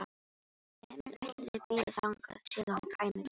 Emil ætlaði að bíða þangað til hann kæmi á torgið.